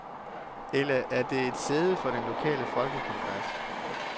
Eller er det et sæde for den lokale folkekongres?